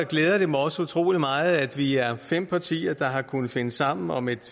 glæder det mig også utrolig meget at vi er fem partier der har kunnet finde sammen om et